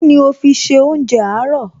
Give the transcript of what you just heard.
Kíni o fi ṣe oúnjẹ àárọ̀?